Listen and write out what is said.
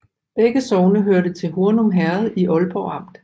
Begge sogne hørte til Hornum Herred i Ålborg Amt